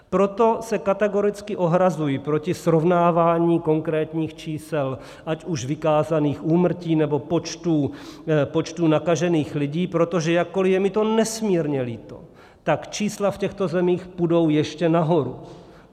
Proto se kategoricky ohrazuji proti srovnávání konkrétních čísel, ať už vykázaných úmrtí, nebo počtů nakažených lidí, protože jakkoli je mi to nesmírně líto, tak čísla v těchto zemích půjdou ještě nahoru.